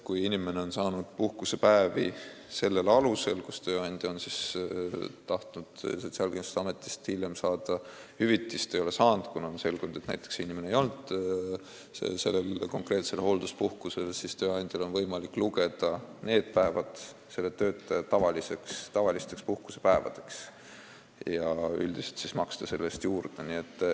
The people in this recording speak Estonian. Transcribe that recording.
Kui inimene on saanud sellel alusel puhkusepäevi ja tööandja on tahtnud Sotsiaalkindlustusametist hiljem hüvitist saada, aga ei ole saanud, kuna on selgunud, et inimene ei olnud näiteks hoolduspuhkusel, siis on tööandjal võimalik lugeda need päevad selle töötaja tavalisteks puhkusepäevadeks ja maksta üldiselt nende eest juurde.